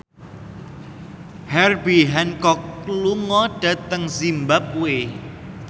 Herbie Hancock lunga dhateng zimbabwe